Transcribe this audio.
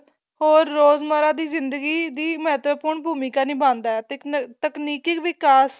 ਹੋਰ ਰੋਜ ਮਾਰਾ ਦੀ ਜਿੰਦਗੀ ਦੀ ਮੱਹਤਵਪੂਰਨ ਭੂਮਿਕਾ ਨਿਭਾਉਦਾ ਏ ਤੇ ਤਕਨੀਕੀ ਵਿਕਾਸ